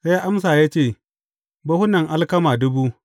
Sai ya amsa ya ce, Buhunan alkama dubu.’